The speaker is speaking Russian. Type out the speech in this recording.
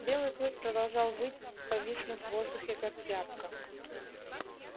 белый клык продолжал выть повиснув в воздухе как тряпка